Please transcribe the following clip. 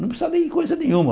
Não precisa lei coisa nenhuma.